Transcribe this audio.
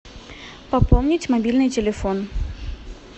пополнить мобильный телефон